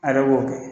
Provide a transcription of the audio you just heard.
A yɛrɛ b'o kɛ